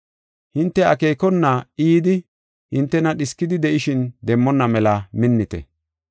Hinte akeekona I yidi hinte dhiskidi de7ishin demmonna mela minnite.